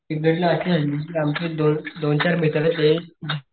सिंहगडदोन चार मित्राचे